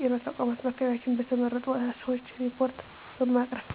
ጤና ተቋማት በአካባቢያችን በተመረጡ ሰዎች ሪፓርት በማቅረብ።